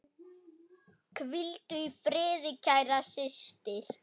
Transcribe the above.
Hvíldu í friði, kæra systir.